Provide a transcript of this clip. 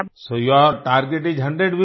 so your target is 100 women